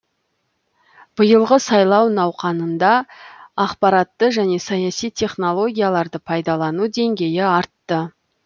биылғы сайлау науқанында ақпаратты және саяси технологияларды пайдалану деңгейі артты